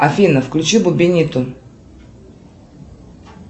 афина включи бубениту